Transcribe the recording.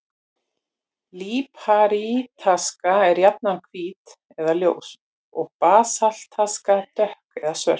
Líparítaska er jafnan hvít eða ljós, en basaltaska dökk eða svört.